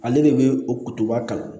Ale de bɛ o kutuba kalan